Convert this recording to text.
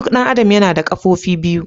Duk ɗan adam yana da Ƙafofi biyu.